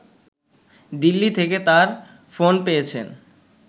দিল্লি থেকে তার ফোন পেয়েছেন